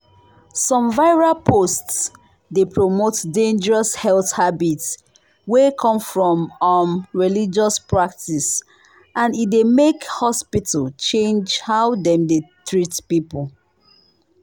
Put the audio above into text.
some viral post dey promote dangerous health habit wey come from um religious practice and e dey make hospital change how dem dey treat people.